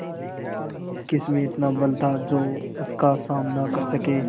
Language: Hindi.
किसमें इतना बल था जो उसका सामना कर सके